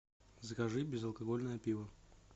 закажи безалкогольное пиво